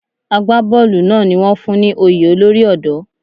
Àgbá bọ́ọ̀lù náà ni wón fún ní oyè olórí ọ̀dọ́.